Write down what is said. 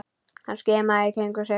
Hann skimaði í kringum sig.